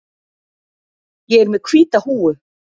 Ég er með hvíta húfu.